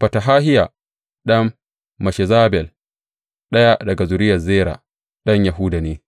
Fetahahiya ɗan Meshezabel, ɗaya daga zuriyar Zera ɗan Yahuda ne,